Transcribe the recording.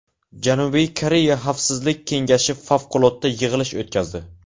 Janubiy Koreya Xavfsizlik Kengashi favqulodda yig‘ilish o‘tkazdi.